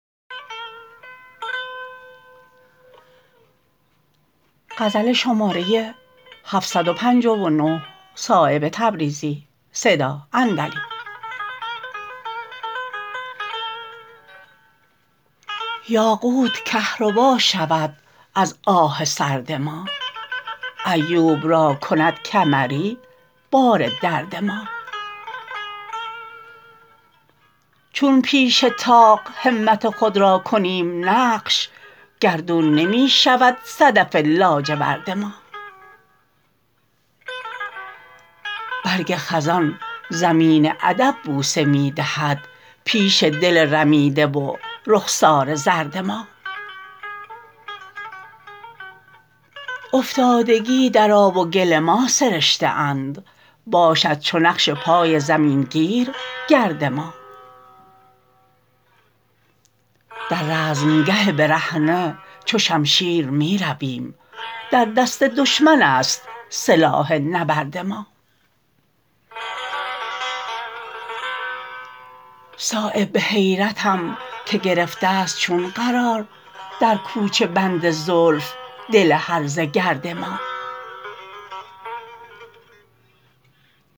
یاقوت کهربا شود از آه سرد ما ایوب را کند کمری بار درد ما چون پیش طاق همت خود را کنیم نقش گردون نمی شود صدف لاجورد ما برگ خزان زمین ادب بوسه می دهد پیش دل رمیده و رخسار زرد ما افتادگی در آب و گل ما سرشته اند باشد چو نقش پای زمین گیر گرد ما در رزمگه برهنه چو شمشیر می رویم در دست دشمن است سلاح نبرد ما صایب به حیرتم که گرفته است چون قرار در کوچه بند زلف دل هرزه گرد ما